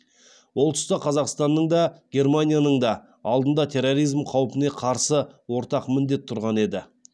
ол тұста қазақстанның да германияның да алдында терроризм қаупіне қарсы ортақ міндет тұрған еді